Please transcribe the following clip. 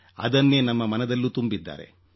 ಅದನ್ನೇ ನಮ್ಮ ಮನದಲ್ಲೂ ತುಂಬಿದ್ದಾರೆ